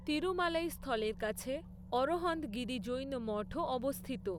তিরুমালাই স্থলের কাছে অরহন্তগিরি জৈন মঠও অবস্থিত।